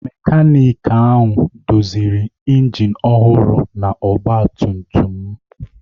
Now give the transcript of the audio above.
Mekaniki ahụ doziri injin ọhụrụ na ọgba tum tum m.